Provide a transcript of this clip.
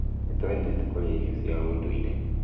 Nĩtũendete kũrĩa irio cia ũndũire